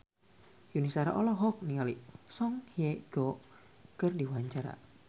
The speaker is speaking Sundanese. Yuni Shara olohok ningali Song Hye Kyo keur diwawancara